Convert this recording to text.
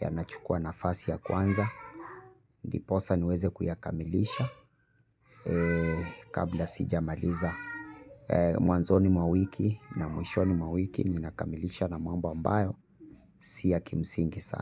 Yanachukua nafasi ya kwanza ndiposa niweze kuyakamilisha kabla sijamaliza. Mwanzoni mwa wiki na mwishoni mwa wiki ninakamilisha na mambo ambayo si ya kimsingi saa.